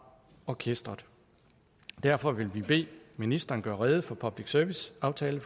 orkestret derfor vil vi bede ministeren gøre rede for public service aftalen